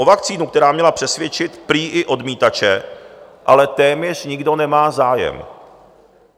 O vakcínu, která měla přesvědčit prý i odmítače, ale téměř nikdo nemá zájem.